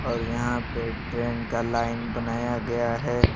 और यहां पे ट्रेन का लाइन बनाया गया है।